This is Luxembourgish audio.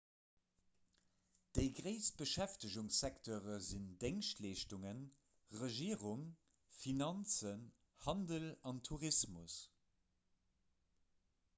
déi gréisst beschäftegungssekteure sinn déngschtleeschtungen regierung finanzen handel an tourismus